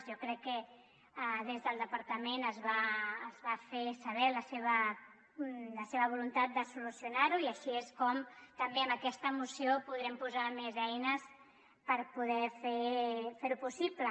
jo crec que des del departament es va fer saber la seva voluntat de solucio·nar·ho i així és com també amb aquesta moció podrem posar més eines per poder fer·ho possible